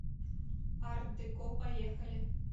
арт деко поехали